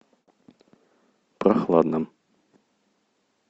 прохладным